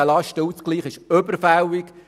Dieser Lastenausgleich ist überfällig.